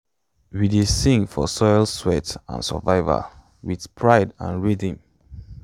we dey sing for soil sweat and survival wit pride and rhythm